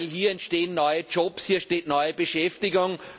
Hier entstehen neue Jobs, hier entsteht neue Beschäftigung.